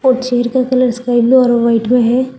Chair का colours yellow और white में हैं।